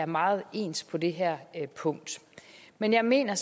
meget ens på det her punkt men jeg mener